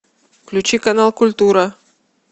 включи канал культура